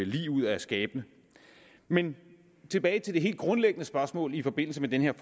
lig ud af skabene men tilbage til det helt grundlæggende spørgsmål i forbindelse med den her